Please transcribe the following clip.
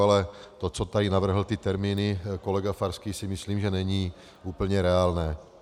Ale to, co tady navrhl, ty termíny, kolega Farský, si myslím, že není úplně reálné.